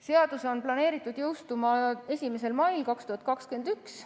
Seadus on planeeritud jõustuma 1. mail 2021.